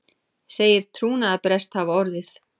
Segir trúnaðarbrest hafa orðið